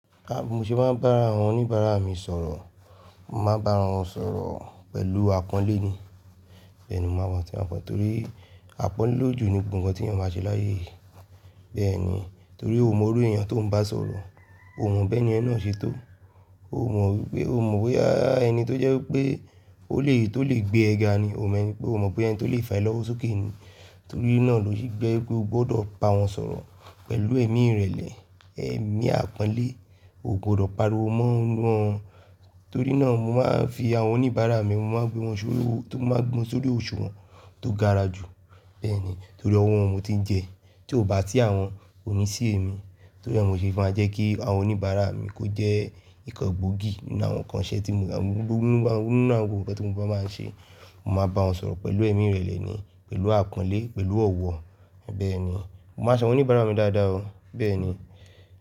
Rárá, bí mo ṣe máa ń bá àwọn oníbàárà mi sọ̀rọ̀, màá bá wọn sọ̀rọ̀ pẹ̀lú àpọ́nlé ni. Bẹ́ẹ̀ni, màá máa fi hàn fún wọn torí àpọ́nlé lójú ni gbogbo ǹkan tí èèyàn máa ṣe láyé. Bẹ́ẹ̀ ni, torí ò mọ orí èèyàn tó ń bá sọ̀rọ̀, ò mọ bí ẹni yen náà ṣe tó, ò mọ wípé, ò mọ boya eni to je wípé ó lè, tó lè gbé ẹ ga ni, ò mọ wípé, ò mọ pé ẹni tó lè fà á lọ́wọ́ sókè ni. Torí náà lò ṣe je pé o gbọdọ̀ bá wọn sọ̀rọ̀ pẹ̀lú ẹ̀mí ìrẹ̀lẹ̀, ẹ̀mí àpọ́nlé, o gbọdọ̀ pariwo mọ́ wọn. Torí náà mo máa ń fi àwọn oníbàárà mi, mo máa gbé wọn sórí, tó máa gbé wọn sórí òṣùwọ̀n tó gara jù. Bẹ́ẹ̀ ni, torí ọwọ́ wọn mo ti ń jẹ, tí ò bá si àwọn ko ní sì ẹ̀mi. Torí ẹ́, mo ṣe é fún ẹ jẹ́ kí àwọn oníbàárà mi kó jẹ́ ìkan gbógí ní àwọn ǹkan ṣẹ tí mo ń ṣe, gbogbo ǹkan tí mo bá máa ń ṣe, màá bá wọn sọ̀rọ̀ pẹ̀lú ẹ̀mí ìrẹ̀lẹ̀ ni, pẹ̀lú àpọ́nlé, pẹ̀lú ọ̀wọ̀. Bẹ́ẹ̀ ni, mo máa se àwọn oníbàárà mi dáadáa o. Bẹ́ẹ̀ ni.